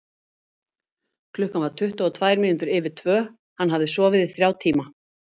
Klukkan var tuttugu og tvær mínútur yfir tvö, hann hafði sofið í þrjá tíma.